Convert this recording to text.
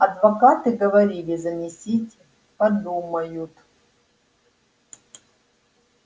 адвокаты говорили занесите подумают